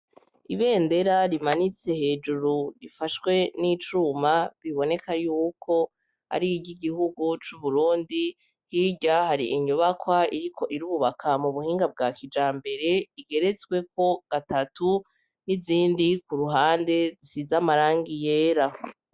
Ibendera rimanitse hejuru rifashwe n'icuma; biboneka yuko ari iry'igihugu c'Uburundi. Hirya hari inyubakwa iriko irubaka mu buhinga bwa kijambere, igeretsweko gatatu, n'izindi ku ruhande zisize amarangi yera.